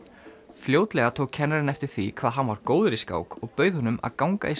fljótlega tók kennarinn eftir því hvað hann var góður í skák og bauð honum að ganga í